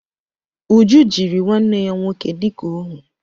Uju jiri nwanne ya nwoke dịka óhú